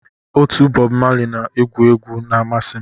Otu Bob Marley na-agu egwu na amasị m